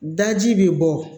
Daji bɛ bɔ